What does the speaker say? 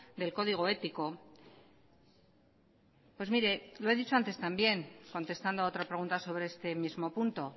del código ético pues mire lo he dicho antes también contestando a otra pregunta sobre este mismo punto